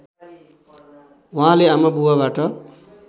उहाँले आमाबुबाबाट